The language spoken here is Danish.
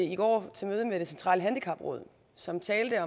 i går til møde med det centrale handicapråd som talte